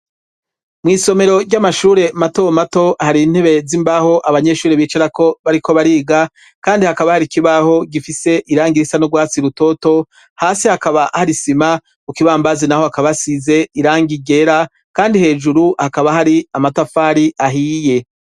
Mw' isomero ry'amashuri mato mato hari intebe z'imbaho abanyeshuri bicarako bariko bariga, kandi hakaba hari kibaho gifise irangi risa n'urwatsi rutoto; hasi hakaba hari isima, ku kibambazi naho hakaba hasize irangi ryera, kandi hejuru hakaba hari amatafari ahiye.